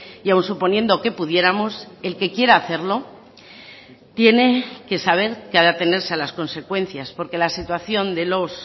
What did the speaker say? y aun suponiendo que pudiéramos el que quiera hacerlo tiene que saber qué ha de atenerse a las consecuencias porque la situación de los